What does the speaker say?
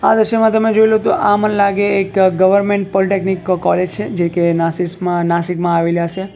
આ દ્રશ્યમાં તમે જોઈલો તો આ મને લાગે એક ગવરમેન્ટ પોલીટેકનિક કોલેજ છે જેકે નસીસમા નાશિકમાં આવેલી અસે.